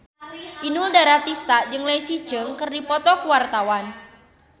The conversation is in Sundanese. Inul Daratista jeung Leslie Cheung keur dipoto ku wartawan